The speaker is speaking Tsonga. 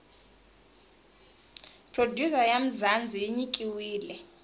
producer ya mzanzi yinyikiwile